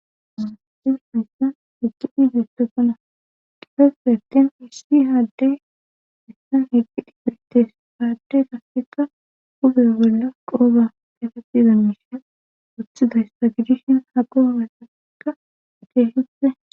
Asati haysan eqidi betosona eqgi dhidutokkona qifeseten hissi haaddey issan heqqidi pirtes haadde gasseka ube bolla qooba efatizammisheen oththidayssa gidishen ha qoomasaekka keehippe